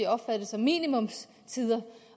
opfattet som minimumstider